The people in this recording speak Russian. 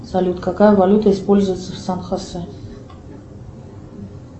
салют какая валюта используется в сан хосе